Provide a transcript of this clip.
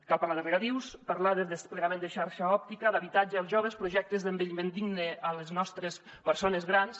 cal parlar de regadius parlar de desplegament de xarxa òptica d’habitatge per als joves projectes d’envelliment digne per a les nos·tres persones grans